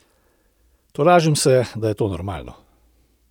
Tolažim se, da je to normalno.